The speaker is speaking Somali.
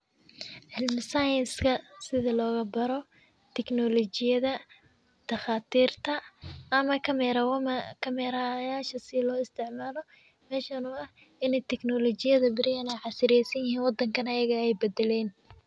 Cilmi science ka sidhi logabaro teknolojiyadha daqaatirta ama camera yasha sidha loga isticmalo mesha nololaha in ey teknolojiyaha beriyaha ey casriyesanyahan wadanka neh ey badaleen.